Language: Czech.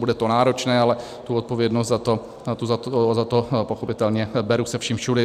Bude to náročné, ale tu odpovědnost za to pochopitelně beru se vším všudy.